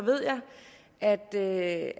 er det